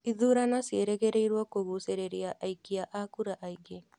Ithurano ciĩrĩgĩrĩrwo kũgucĩrĩria aikia a kura aingĩ